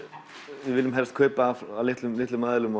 við viljum helst kaupa af litlum litlum aðilum